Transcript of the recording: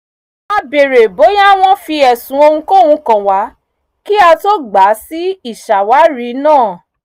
a bèèrè bóyá wọ́n fi ẹ̀sùn ohunkóhun kàn wá kí á tó gbà sí ìṣàwárí náà